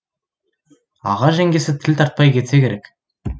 аға жеңгесі тіл тартпай кетсе керек